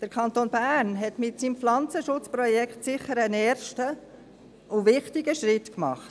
Der Kanton Bern hat mit seinem Pflanzenschutzprojekt sicher einen ersten und wichtigen Schritt getan.